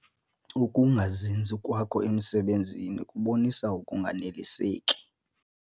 Ukungazinzi kwakho emisebenzini kubonisa ukunganeliseki.